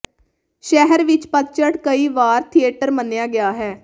ਸ਼ਹਿਰ ਵਿੱਚ ਪਤਝੜ ਕਈ ਵਾਰ ਥੀਏਟਰ ਮੰਨਿਆ ਗਿਆ ਹੈ